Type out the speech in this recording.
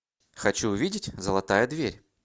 хочу увидеть золотая дверь